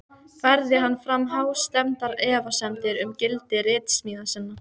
Færði hann fram hástemmdar efasemdir um gildi ritsmíða sinna.